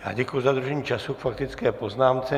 Já děkuji za dodržení času k faktické poznámce.